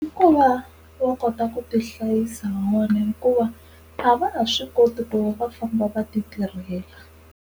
I ku va va kota ku tihlayisa van'wana hikuva a va ha swi koti ku va va famba va ti tirhela.